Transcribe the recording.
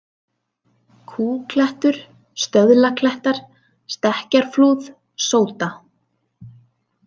Kúklettur, Stöðlaklettar, Stekkjarflúð, Sóda